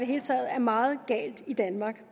hele taget er meget galt i danmark